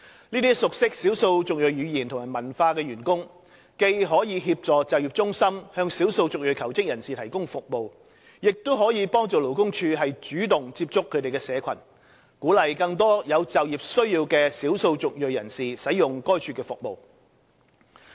這些熟悉少數族裔語言及文化的員工既可協助就業中心向少數族裔求職人士提供服務，亦可幫助勞工處主動接觸他們的社群，鼓勵更多有就業需要的少數族裔人士使用該處的服務。